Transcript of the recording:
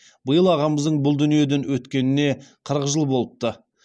биыл ағамыздың бұл дүниеден өткеніне қырық жыл болыпты